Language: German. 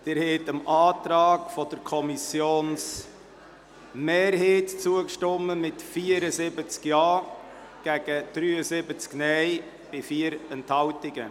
Sie haben dem Antrag der Kommissionsmehrheit zugestimmt mit 74 Ja- zu 73 NeinStimmen bei 4 Enthaltungen.